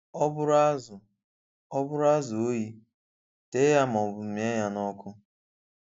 Ọ bụrụ azụ Ọ bụrụ azụ oyi, tee ya maọbụ mịá ya n’ọkụ.